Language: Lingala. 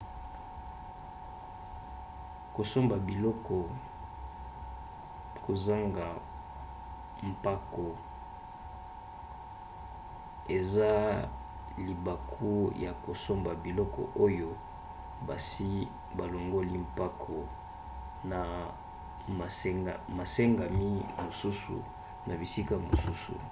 kosomba biloko kozanga mpako eza libaku ya kosomba biloko oyo basi balongoli mpako pe masengami mosusu na bisika mosusu